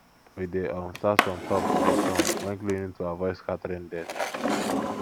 we dey um start from top to bottom um when cleaning to avoid scattering dirt